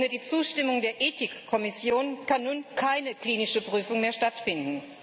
Ohne die Zustimmung der Ethik Kommission kann nun keine klinische Prüfung mehr stattfinden.